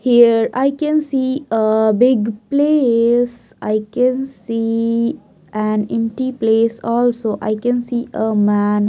Here I can see a big place I can see an empty place also I can see a man.